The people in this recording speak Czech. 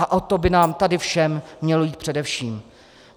A o to by nám tady všem mělo jít především.